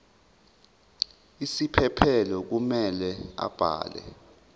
isiphephelo kumele abhale